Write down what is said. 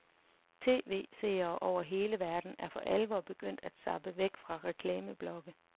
TV-seere over hele verden er for alvor begyndt at zappe væk fra reklameblokke.